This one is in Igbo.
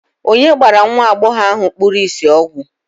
onye gbara nwa agbọghọ ahụ kpuru ìsì ọgwụ